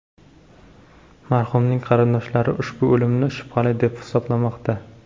Marhumning qarindoshlari ushbu o‘limni shubhali deb hisoblamoqda.